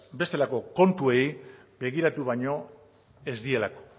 bestelako kontuei begiratu baino ez dielako